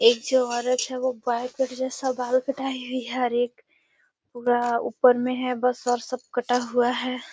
एक जो औरत है वो बॉय कट जैसा बाल कटाई हुई है और एक पूरा ऊपर मे है और सब कटा हुआ है।